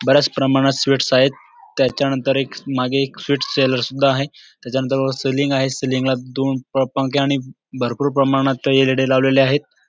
बऱ्याच प्रमाणात स्वीटस आहेत त्याच्यानंतर मागे एक स्वीट सेलर सुद्धा आहे त्याच्या नंतर वर सीलिंग आहे सीलिंग ला दोन पंखे आणि भरपूर प्रमाणात एल.ई.डी लावलेल्या आहेत.